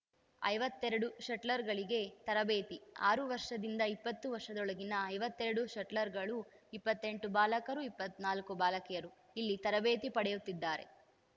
ಐವತ್ತೆರಡು ಶಟ್ಲರ್‌ಗಳಿಗೆ ತರಬೇತಿ ಆರು ವರ್ಷದಿಂದ ಇಪ್ಪತ್ತು ವರ್ಷದೊಳಗಿನ ಐವತ್ತೆರಡು ಶಟ್ಲರ್‌ಗಳು ಇಪ್ಪತ್ತೆಂಟು ಬಾಲಕರು ಇಪ್ಪತ್ತ್ ನಾಲ್ಕು ಬಾಲಕಿಯರು ಇಲ್ಲಿ ತರಬೇತಿ ಪಡೆಯುತ್ತಿದ್ದಾರೆ